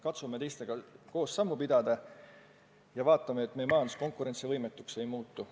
Katsume teistega sammu pidada ja vaatame, et meie majandus konkurentsivõimetuks ei muutu.